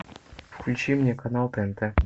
включи мне канал тнт